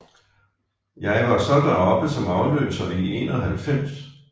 Jeg var så deroppe som afløser i 91